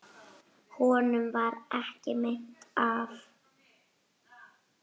Honum varð ekki meint af.